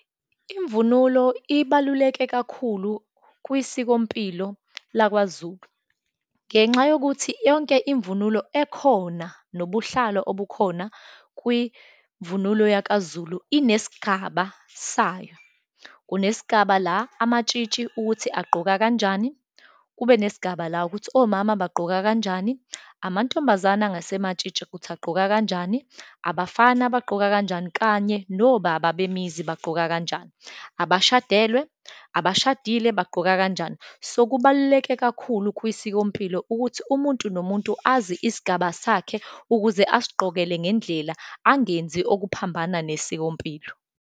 Imvunulo ibaluleke kakhulu kwisikompilo lakwaZulu ngenxa yokuthi yonke imvunulo ekhona, nobuhlalo obukhona kwimvunulo yakaZulu, inesigaba sayo. Kunesigaba la amatshitshi ukuthi agqoka kanjani, kube nesigaba la ukuthi omama bagqoka kanjani, amantombazane angasematshitshi ukuthi agqoka kanjani, abafana baqoka kanjani, kanye nobaba bemizi bagqoka kanjani, abashadelwe, abashadile bagqoka kanjani. So, kubaluleke kakhulu kwisikompilo ukuthi umuntu nomuntu azi isigaba sakhe, ukuze asigqokele ngendlela, angenzi okuphambana nesikompilo.